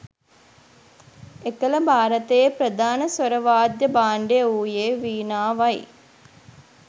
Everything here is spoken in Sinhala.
එකල භාරතයේ ප්‍රධාන ස්වර වාද්‍ය භාණ්ඩය වූයේ වීණාවයි